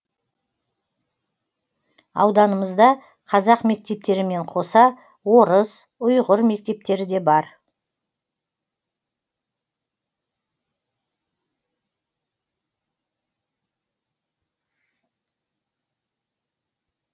ауданымызда қазақ мектептерімен қоса орыс ұйғыр мектептері де бар